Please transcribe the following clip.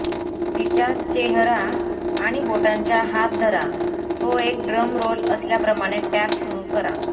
तिच्या चेहरा आणि बोटांच्या हात धरा तो एक ड्रम रोल असल्याप्रमाणे टॅप सुरू करा